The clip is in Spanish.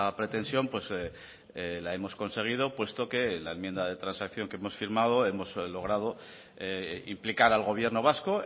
pretensión la hemos conseguido puesto que la enmienda de transacción que hemos firmado hemos logrado implicar al gobierno vasco